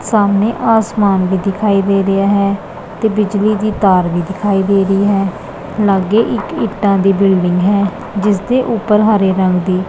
ਸਾਹਮਣੇ ਆਸਮਾਨ ਵੀ ਦਿਖਾਈ ਦੇ ਰਿਹਾ ਹੈ ਤੇ ਬਿਜਲੀ ਦੀ ਤਾਰ ਵੀ ਦਿਖਾਈ ਦੇ ਰਹੀ ਹੈ ਲੱਗੇ ਇੱਕ ਇਂਟਾ ਦੀ ਬਿਲਡਿੰਗ ਹੈ ਜਿੱਸ ਦੇ ਊਪਰ ਹਰੇ ਰੰਗ ਦੀ--